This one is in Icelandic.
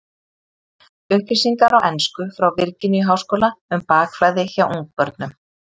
Upplýsingar á ensku frá Virginíu-háskóla um bakflæði hjá ungbörnum.